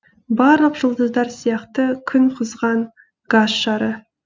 барлық жұлдыздар сияқты күн қызған газ шары